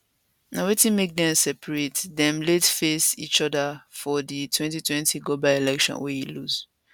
na wetin make dem separate dem late face each oda for di 2020 guber election wey e lose